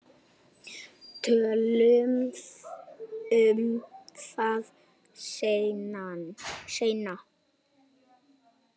Tölum um það seinna.